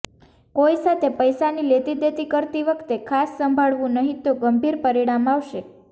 કોઇ સાથે પૈસાની લેતી દેતી કરતી વખતે ખાસ સંભાળવુ નહીંતો ગંભીર પરિણામ આવશે